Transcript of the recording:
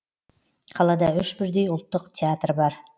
қалада үш бірдей ұлттық театр бар